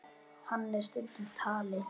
Hann er stundum talinn